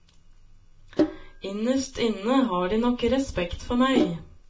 Innerst inne har de nok respekt for meg.